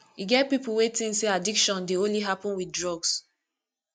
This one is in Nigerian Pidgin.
e get pipo wey think say addiction dey only happen with drugs